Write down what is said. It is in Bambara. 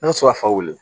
N mi se ka fa wili